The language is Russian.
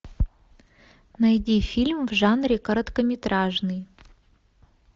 найди фильм в жанре короткометражный